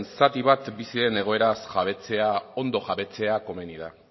zati bat bizi den egoeraz jabetzea ondo jabetzea komeni da